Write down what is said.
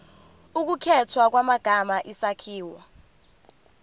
ukukhethwa kwamagama isakhiwo